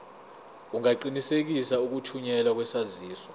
ungaqinisekisa ukuthunyelwa kwesaziso